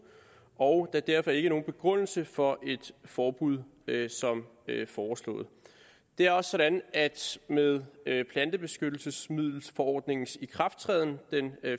og er derfor ingen begrundelse for et forbud som foreslået det er også sådan at med plantebeskyttelsesmiddelforordningens ikrafttræden den